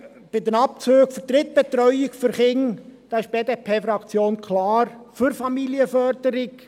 Bei den Abzügen für die Drittbetreuung von Kindern, ist die BDP-Fraktion klar für Familienförderung.